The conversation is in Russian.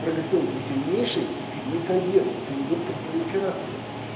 прогестерон то сильнейший метоген это индуктор пролиферации